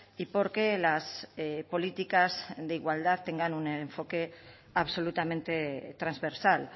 y por que las políticas de igualdad tengan un enfoque absolutamente transversal